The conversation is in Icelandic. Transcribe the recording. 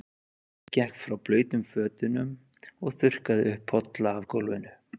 Örn gekk frá blautum fötunum og þurrkaði upp polla af gólfinu.